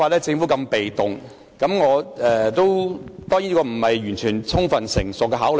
當然，我的建議未必經完全充分成熟的考慮。